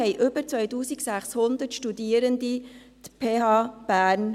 2018 besuchten über 2600 Studierende die PH Bern.